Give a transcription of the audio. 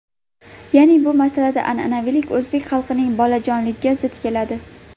Ya’ni bu masalada an’anaviylik o‘zbek xalqining bolajonligiga zid keladi.